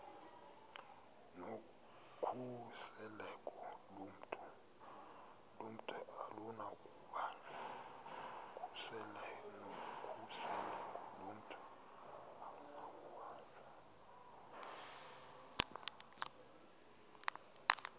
nokhuseleko lomntu akunakubanjwa